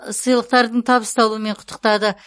сыйлықтардың табысталуымен құттықтады